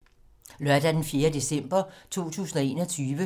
Lørdag d. 4. december 2021